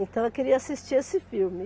Então, eu queria assistir esse filme.